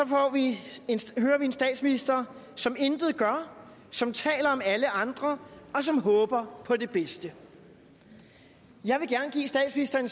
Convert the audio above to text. hører vi en statsminister som intet gør som taler om alle andre og som håber på det bedste jeg vil gerne give statsministeren